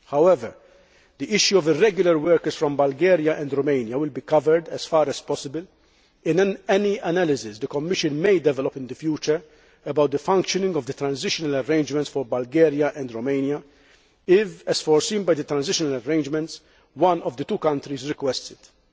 However, the issue of irregular workers' from Bulgaria and Romania will be covered, as far as possible, in any analysis the Commission may develop in the future about the functioning of the transitional arrangements for Bulgaria and Romania if, as foreseen by the transitional arrangements, one of the two countries requests it.